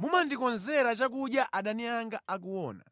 Mumandikonzera chakudya adani anga akuona.